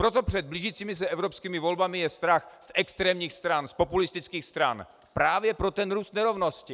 Proto před blížícími se evropskými volbami je strach z extrémních stran, z populistických stran, právě pro ten růst nerovnost.